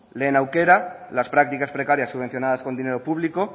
lehen aukera las prácticas precarias subvencionadas con dinero público